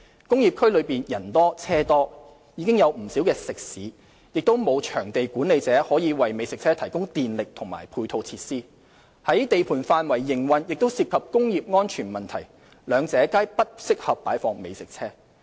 工業區內人多車多，已有不少食肆，亦沒有場地管理者可以為美食車提供電力和配套設施；在地盤範圍營運亦涉及工業安全問題，兩者皆不適合擺放美食車。